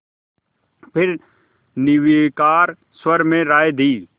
फिर निर्विकार स्वर में राय दी